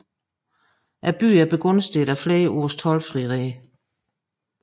Byen var begunstiget af flere års toldfrihed